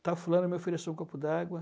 Está fulano, meu filho, é só um copo d'água.